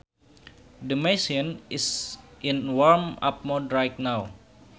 The machine is in warm up mode right now